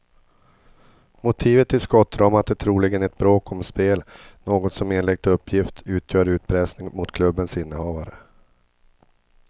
Motivet till skottdramat är troligen ett bråk om spel, något som enligt uppgift utgör utpressning mot klubbens innehavare.